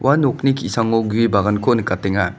nokni ki·sango gue baganko nikatenga.